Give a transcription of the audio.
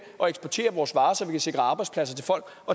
at eksportere vores varer så vi kan sikre arbejdspladser til folk